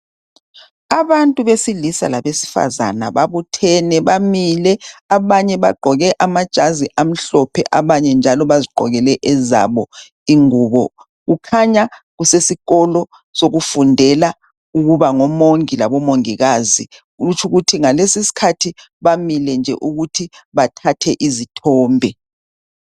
Abantu besilisa labesifazana babuthene bamile. Abanye bagqoke amajazi amhlophe abanye njalo bazigqokele ezabo ingubo. Kukhanya kusesikolo sokufundela ukuba ngomongi labomongikazi. Kutshukuthi ngalesiskhathi bamile nje ukuthi bathathe izithombe.